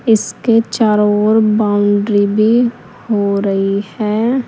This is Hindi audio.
इसके चारो ओर बाउंड्री भी हो रही है।